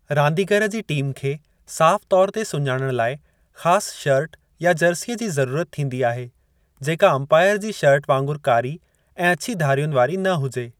रांदीगरु जी टीम खे साफ़ तौर ते सुञाणणु लाए ख़ास शर्ट या जर्सीअ जी ज़रूरत थींदी आहे जेका अंपायरु जी शर्ट वांगुरु कारी ऐं अछी धारियुनि वारी न हुजे।